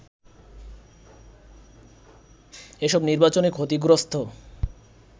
এসব নির্বাচনে ক্ষতিগ্রস্ত